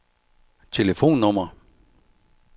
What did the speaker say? telefonnummer